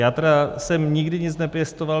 Já jsem tedy nikdy nic nepěstoval.